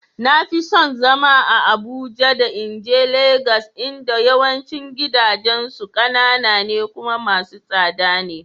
Na fi son zama a Abuja da in je Legas inda yawancin gidajensu kanana ne kuma masu tsada ne.